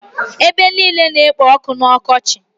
Ebe niile na-ekpo ọkụ n'ọkọchị.